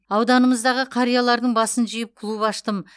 ауданымыздағы қариялардың басын жиып клуб аштым